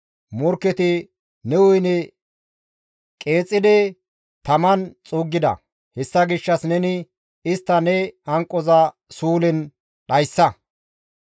Morkketi ne woyne qeexidi taman xuuggida; hessa gishshas neni istta ne hanqoza suulen dhayssa.